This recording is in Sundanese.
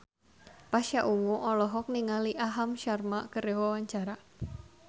Pasha Ungu olohok ningali Aham Sharma keur diwawancara